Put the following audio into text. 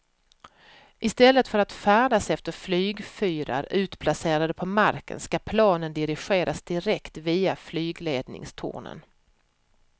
I stället för att färdas efter flygfyrar utplacerade på marken ska planen dirigeras direkt via flygledningstornen.